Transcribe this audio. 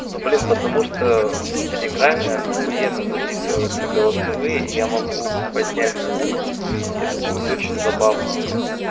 ну блин потому что в телеграмме ахуенно записываются голосовые и я могу поднять звук это будет очень забавно